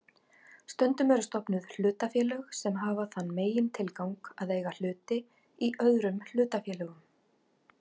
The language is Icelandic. Stundum eru stofnuð hlutafélög sem hafa þann megintilgang að eiga hluti í öðrum hlutafélögum.